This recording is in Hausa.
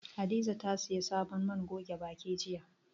Hadiza ta sayi sabon man goge baki jiya.